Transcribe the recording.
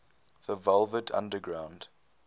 the velvet underground